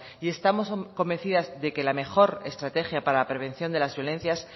y estamos convencidas de que la mejor estrategia para la prevención de las violencias